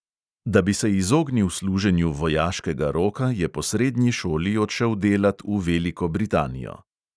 Da bi se izognil služenju vojaškega roka, je po srednji šoli odšel delat v veliko britanijo.